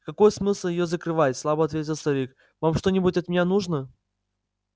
какой смысл её закрывать слабо ответил старик вам что-нибудь от меня нужно